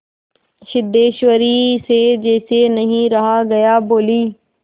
सिद्धेश्वरी से जैसे नहीं रहा गया बोली